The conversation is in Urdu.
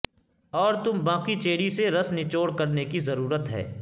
اور تم باقی چیری سے رس نچوڑ کرنے کی ضرورت ہے